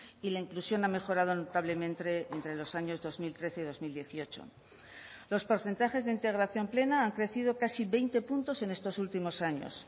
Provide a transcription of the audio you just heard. y la inclusión ha mejorado notablemente entre los años dos mil trece y dos mil dieciocho los porcentajes de integración plena han crecido casi veinte puntos en estos últimos años